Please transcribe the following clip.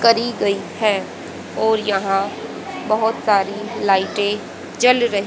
करी गई है और यहां बहुत सारी लाइटें जल रही--